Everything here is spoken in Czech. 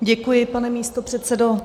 Děkuji, pane místopředsedo.